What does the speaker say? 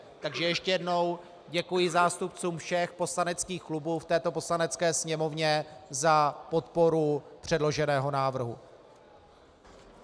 Takže ještě jednou děkuji zástupcům všech poslaneckých klubů v této Poslanecké sněmovně za podporu předloženého návrhu.